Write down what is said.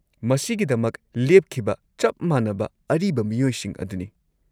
-ꯃꯁꯤꯒꯤꯗꯃꯛ ꯂꯦꯞꯈꯤꯕ ꯆꯞ ꯃꯥꯟꯅꯕ ꯑꯔꯤꯕ ꯃꯤꯑꯣꯏꯁꯤꯡ ꯑꯗꯨꯅꯤ ꯫